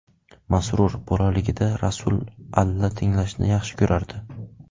Masrur : Bolaligida Rasul alla tinglashni yaxshi ko‘rardi.